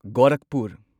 Gorakhpur